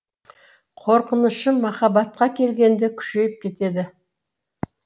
қорқынышым махаббатқа келгенде күшейіп кетеді